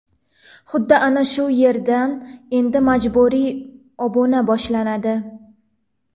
Xuddi ana shu yerdan endi majburiy obuna boshlanadi.